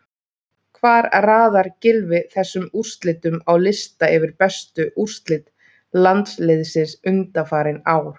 Hvar raðar Gylfi þessum úrslitum á lista yfir bestu úrslit landsliðsins undanfarin ár?